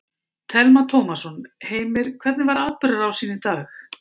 Telma Tómasson: Heimir, hvernig var atburðarrásin í dag?